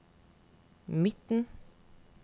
midten